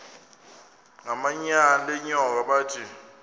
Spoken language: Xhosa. ngamanyal enyoka bathi